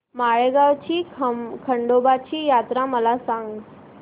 माळेगाव ची खंडोबाची यात्रा मला सांग